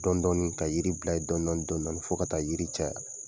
Dɔndɔni ka yiri bila ye dɔndɔni dɔndɔni fɔ ka taa yiri caya